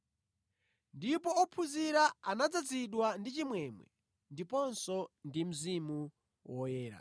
Ndipo ophunzira anadzazidwa ndi chimwemwe ndiponso ndi Mzimu Woyera.